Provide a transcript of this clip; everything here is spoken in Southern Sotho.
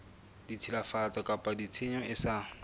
tshilafatso kapa tshenyo e sa